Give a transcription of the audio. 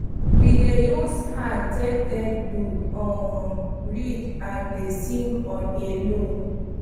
we dey use hand take take do um ridges and dey sing on a low